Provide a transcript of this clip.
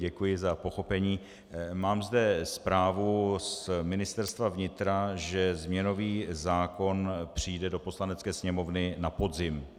Děkuji za pochopení, mám zde zprávu z Ministerstva vnitra, že změnový zákon přijde do Poslanecké sněmovny na podzim.